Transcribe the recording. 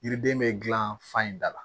Yiriden bɛ gilan fan in da la